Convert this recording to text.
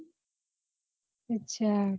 અચ્છા